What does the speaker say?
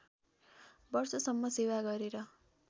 वर्षसम्म सेवा गरेर